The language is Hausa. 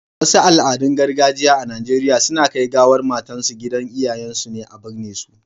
Wasu Al, adun gargajiya a Nigeria suna Kai gawar matan su gidan iyayen su ne a birne su